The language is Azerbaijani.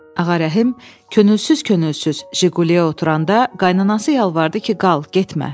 Ağarəhim könülsüz-könülsüz Jiquleyə oturanda, qaynanası yalvardı ki, qal, getmə.